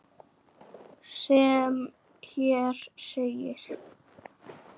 sem hér segir